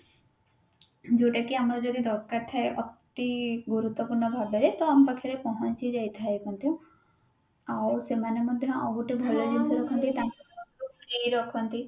ଯୋଉଟା କି ଆମର ଯଦି ଦରକାର ଥାଏ ଅତି ଗୁରୁତ୍ବପୂର୍ଣ ଭାବରେ ତ ଆମ ପାଖରେ ପହଞ୍ଚି ଯାଇଥାଏ ମଧ୍ୟ ଆଉ ସେମାନେ ମଧ୍ୟ ଆଉ ଗୋଟେ ଭଲ ଜିନିଷ ଯେ ତାଙ୍କ ରଖନ୍ତି